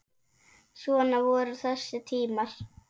Svona voru þessi tímar.